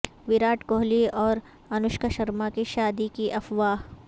ویراٹ کوہلی اور انوشکا شرما کی شادی کی افواہ